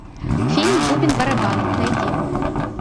фильм бубен барабан найди